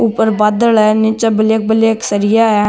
ऊपर बादल है निचे ब्लैक ब्लैक सरिया है।